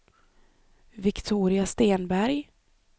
Viktoria Stenberg